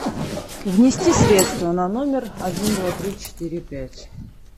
внести средства на номер один два три четыре пять